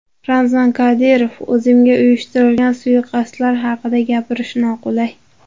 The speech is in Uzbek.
Ramzan Qodirov: O‘zimga uyushtirilgan suiqasdlar haqida gapirish noqulay.